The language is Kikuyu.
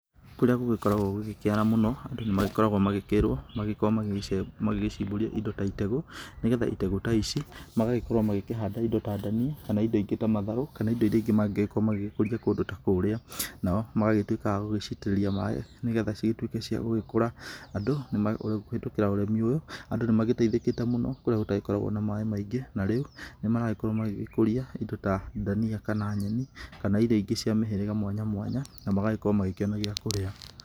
Kũrĩa gũgĩkoragwo gũgĩkĩara mũno andũ nĩ magĩkoragwo magĩkĩrwo magĩkorwo magĩgĩcimbũria indo ta itegũ. Nĩ getha itegũ ta ici magagĩkorwo makĩhanda indo ta ndania kana indo ingĩ ta matharu kana indo iria ingĩ mangĩgĩkorwo magĩgĩkũria kũndũ ta kũrĩa. Nao magagĩtuĩka agũcitĩrĩria maaĩ nĩ getha cigĩtuĩke cia gũgĩkũra, andũ kũhĩtũkĩra ũrĩmi ũyũ, andũ nĩ magĩteithĩkĩte mũno kũrĩa gũtagĩkoragwo na maaĩ maingĩ. Na rĩu nĩ maragĩkorwo magĩgĩkũria indo ta ndania kana nyeni kana indo ingĩ cia mĩhĩrĩga mwanya mwanya na magagĩkorwo makĩona gĩa kũrĩa.